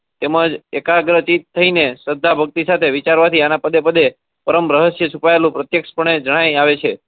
એમ જ એકાગર્તા થી રહીને શ્રદ્ધા ભક્તિ વિચારવા થી એના પડે પરમ રહસ્ય છુપાયેલું પર્તેખ્સ પણે જણાઈ આવે છે.